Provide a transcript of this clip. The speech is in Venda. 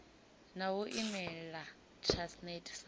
na u imela transnet sa